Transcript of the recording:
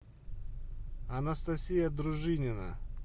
анастасия дружинина